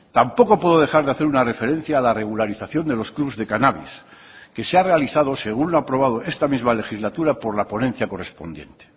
tampoco puedo dejar de hacer una referencia a la regularización de los clubs de cannabis que se ha realizado según lo aprobado esta misma legislatura por la ponencia correspondiente